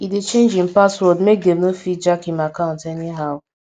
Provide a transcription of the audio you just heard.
e dey change him password make dem no fit jack him account anyhow